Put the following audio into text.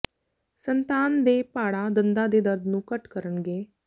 ਸੰਤਾਨ ਦੇ ਪਾੜਾ ਦੰਦਾਂ ਦੇ ਦਰਦ ਨੂੰ ਘੱਟ ਕਰਨਗੇ